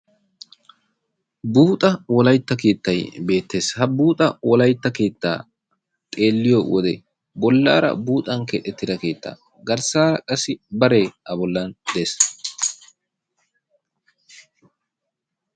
Buuxxa wolaytta keettay beettees. Ha buuxxa wolaytta keettaa xeeliyo wode bollaara buuxxan keexxettida keetta garssaara qasi baree a bolla deesi.